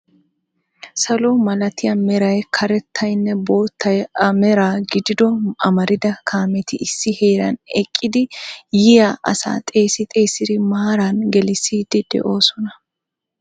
Salo malatiyaa meray, karettaynne boottay a meraa gidido amarida kaametti issi heeran eqqidi yiyyaa asa xeessi xeessi maaran gelissidi de'oosona.